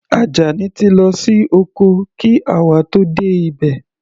Ajani ti lọ sí oko kí àwa ó tó dé ibẹ̀.